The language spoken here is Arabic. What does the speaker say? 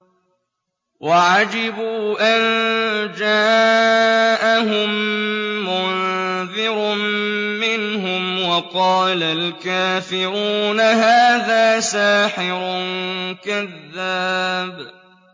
وَعَجِبُوا أَن جَاءَهُم مُّنذِرٌ مِّنْهُمْ ۖ وَقَالَ الْكَافِرُونَ هَٰذَا سَاحِرٌ كَذَّابٌ